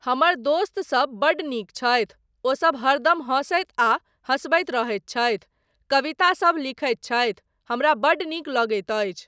हमर दोस्तसब बड्ड नीक छथि, ओसब हरदम हसैत आ हसबैत रहैत छथि, कवितासब लिखैत छथि, हमरा बड्ड नीक लगैत अछि।